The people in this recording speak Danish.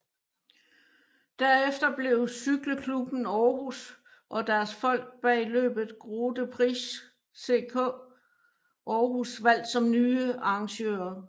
Derefter blev Cykle Klubben Aarhus og deres folk bag løbet Grote Prijs CK Aarhus valgt som nye arrangører